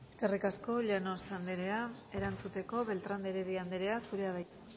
eskerrik asko llanos anderea erantzuteko beltrán de heredia anderea zurea da hitza